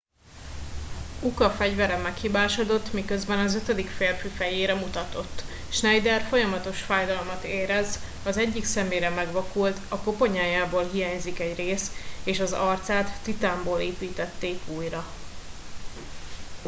uka fegyvere meghibásodott miközben az ötödik férfi fejére mutatott schneider folyamatos fájdalmat érez az egyik szemére megvakult a koponyájából hiányzik egy rész és az arcát titánból építették újra